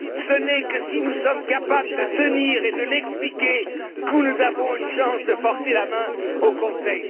Ce n'est que si nous sommes capables de tenir et de l'expliquer que nous avons une chance de forcer la main au Conseil.